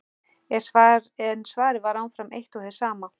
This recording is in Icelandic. En svarið var áfram eitt og hið sama.